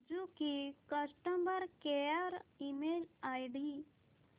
Suzuki customer care email ID